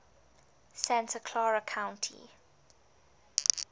santa clara county